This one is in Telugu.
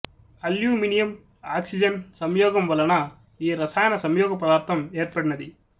అల్యూమినియం ఆక్సిజన్ సంయోగము వలన ఈ రసాయన సంయోగపదార్థం ఏర్పడినది